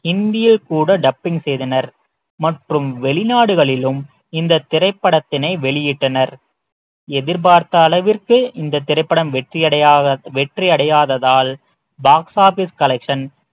இந்தியில் கூட dubbing செய்தனர் மற்றும் வெளிநாடுகளிலும் இந்த திரைப்படத்தினை வெளியிட்டனர் எதிர்பார்த்த அளவிற்கு இந்த திரைப்படம் வெற்றி அடையாத வெற்றி அடையாததால் box office collection